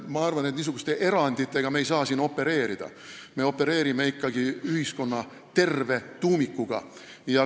Aga ma arvan, et me ei saa siin niisuguste eranditega opereerida, me opereerime ikkagi ühiskonna terve tuumikuga.